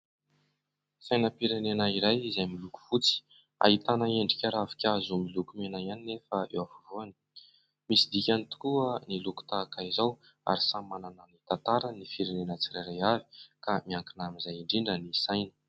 Sainam-pirenena iray izay miloko fotsy, ahitana endrika ravinkazo miloko mena ihany nefa eo afovoany, misy dikany tokoa ny loko tahaka izao ary samy manana ny tantarany ny firenena tsirairay avy ka miankina amin'izay indrindra ny saina.